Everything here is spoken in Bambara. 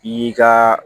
I y'i ka